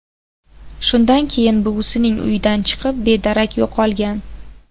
Shundan so‘ng buvisining uyidan chiqib, bedarak yo‘qolgan.